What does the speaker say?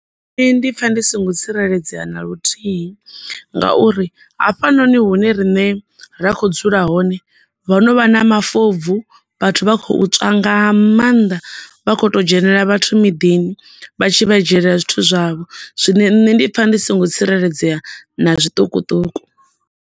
Nṋe ndi pfha ndi songo tsireledzea na luthihi, ngauri hafhanoni hune riṋe ra kho dzula hone ho no vha na mafobvu vhathu vha khou tswa nga maanḓa vha kho to dzhenela vhathu miḓini vha tshi vha dzhiela zwithu zwavho. Zwine nṋe ndi pfha ndi songo tsireledzea na zwiṱukuṱuku.